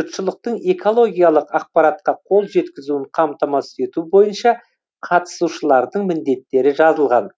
жұртшылықтың экологиялық ақпаратқа қол жеткізуін қамтамасыз ету бойынша қатысушылардың міндеттері жазылған